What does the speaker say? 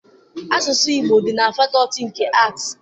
Asụsụ Igbo dị na fakọọti nke Aatị.